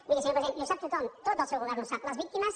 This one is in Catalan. miri senyor president i ho sap tothom tot el seu govern ho sap les víctimes